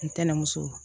Ntɛnɛnmuso